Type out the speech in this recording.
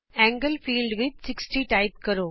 ਕੋਣ ਖੇਤਰ ਵਿਚ 60 ਟਾਈਪ ਕਰੋ